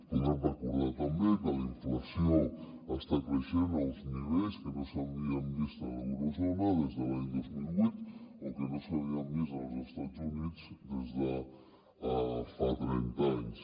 podem recordar també que la inflació està creixent a uns nivells que no s’havien vist a l’eurozona des de l’any dos mil vuit o que no s’havien vist als estats units des de fa trenta anys